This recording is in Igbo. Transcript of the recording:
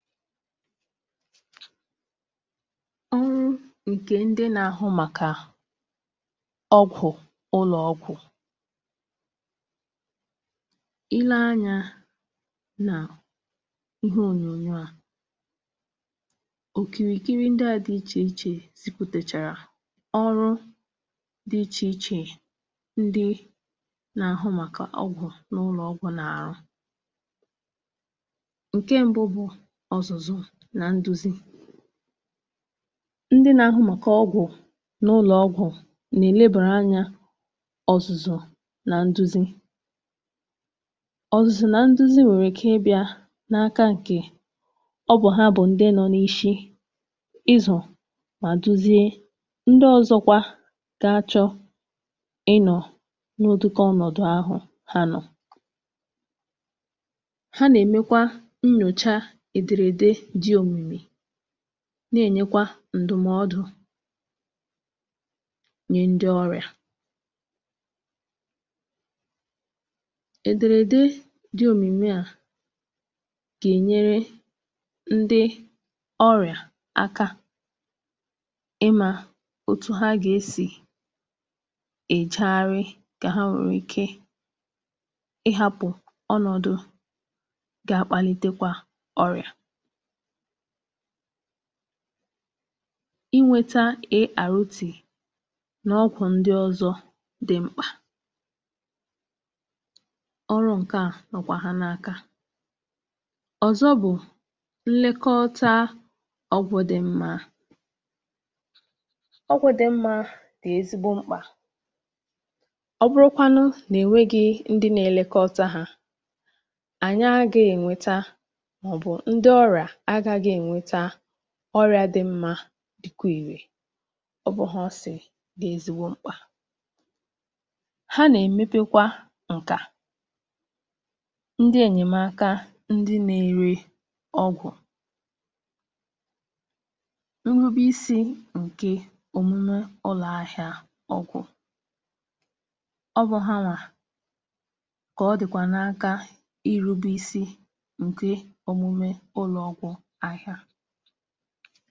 Ndị nà-ahụ̀ maka ọgwụ̀ n’ụlọ̀ọgwụ̀ nwèrè nnukwu ọrụ n’ịzụ̀ nà inye nduzi. Ọrụ ha gụnyere ị̀nye nduzi na ị̀dọ́ ndị ọzọ ọdụ́ um, ndị chọrọ ịmụta maọ̀bụ̀ rụọ ọrụ n’otu ebe ahụ̀. Ha bụ ndị nà-eduzi ma na-achịkwa ndị gà-aghọ̀ ndị ọ̀kachàmà n’ihe gbasara ọgwụ̀. Ndị na-ahụ maka ọgwụ̀ na-enyekwa ndụ̀mọdụ n’aka ndị ọrịa site n’ihedè ihe e dere um, nke na-enyere ndị ọrịa aka ị̀ghọta otú ha gà-esi ewere ọgwụ ha n’ụzọ̀ ziri ezi. Ha na-eleba anya nke ọma ka ndị ọrịa wee jiri ọgwụ ha nke ọma, ka ha ghara iji ya n’ezie maọ̀bụ̀ kwụsị iji ya n’oge na-adịghị anya, nke nwere ike ime ka ọrịa ahụ̀ lọta maọ̀bụ̀ ka njọ̀. Ọrụ̀ ọzọ dị mkpa n’aka ndị na-ahụ maka ọgwụ̀ um bụ ị̀jide n’aka na e nà-achịkwa ọgwụ̀ nke ọma. Ị̀lekọta ọgwụ̀ nke ọma dị ezigbo mkpà, n’ihi na n’enweghị nlekọta na nduzi nke ndị na-ahụ maka ọgwụ̀, àhụ̀ ìké agaghị arụ ọrụ nke ọma. Ndị na-ahụ maka ọgwụ̀ na-enyekwa aka n’ịzụ̀ ndị enyèmaka ụlọ̀ ọgwụ̀ na ndị nà-ere ọgwụ̀ um. Ha na-elekọta iji hụ na ụlọ̀ ahịa ọgwụ̀ na-arụ ọrụ nke ọma, nke ziri ezi, ma na-adị nchebe. Ha na-arụ ọrụ ike iji hụ na ọrụ ụlọ̀ ahịa ọgwụ̀ na-agbasò ụ̀sọ̀rò ahụ̀ ìké, ma na-enyere ndị mmadụ aka n’ụzọ̀ kacha mma.